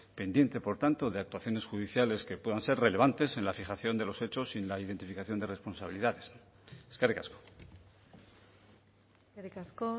pendiente por tanto de actuaciones judiciales que puedan ser relevantes en la fijación de los hechos y en la identificación de responsabilidades eskerrik asko eskerrik asko